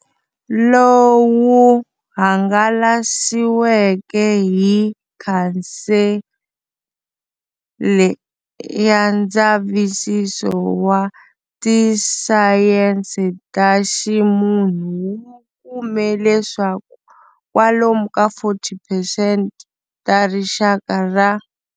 Lowu hangalasiweke hi Khansele ya Ndzavisiso wa Tisayense ta Ximunhu wu kume leswaku kwalomu ka 40 percent ta Rixaka ra.